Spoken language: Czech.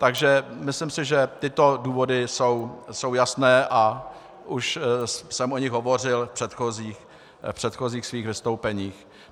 Takže myslím si, že tyto důvody jsou jasné, a už jsem o nich hovořil v předchozích svých vystoupeních.